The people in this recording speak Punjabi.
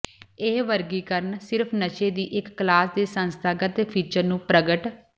ਇਹ ਵਰਗੀਕਰਣ ਸਿਰਫ ਨਸ਼ੇ ਦੀ ਇੱਕ ਕਲਾਸ ਦੇ ਸੰਸਥਾਗਤ ਫੀਚਰ ਨੂੰ ਪ੍ਰਗਟ